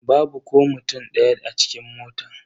Babu ko mutum daya a cikin motan.